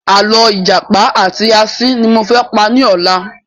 Àlọ́ ìjàpá àti asín ni mo fẹ́ pa ní ọ̀la